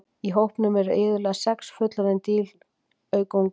Í hópnum eru iðulega sex fullorðin dýr auk unga.